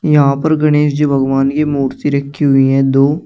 यहां पर गणेश जी भगवान की मूर्ति रखी हुईं है दो।